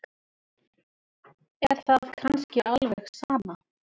Er það kannski alveg sama?